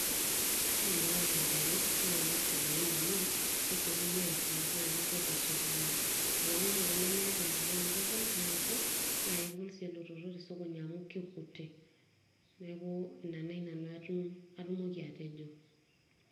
wore lota empeku naa kesidain amu kesiokini atuum nakepuo tesokoni amu wore empeku amu kegol tumoto nakegol sii elototo tesokoni amu kekuti neaku na nai nanu atumoki atejo